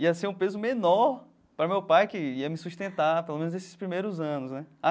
Ia ser um peso menor para meu pai, que ia me sustentar, pelo menos, nesses primeiros anos, né?